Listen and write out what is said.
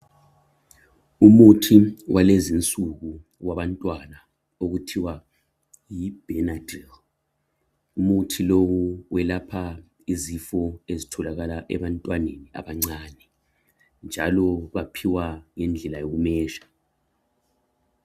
Umuthi walezinsuku wabantwana okuthiwa yibhenadini. Umuthi lowu welapha izifo ezitholakala ebantwaneni abancane, njalo baphiwa ngendlela yokumezha.